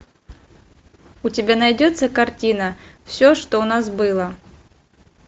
у тебя найдется картина все что у нас было